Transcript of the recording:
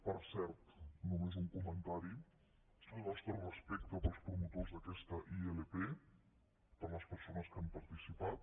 per cert només un comentari el nostre respecte pels promotors d’aquesta ilp per les persones que hi han participat